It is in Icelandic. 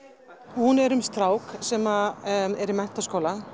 hún er um strák sem er í menntaskóla